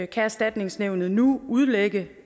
kan erstatningsnævnet nu udlægge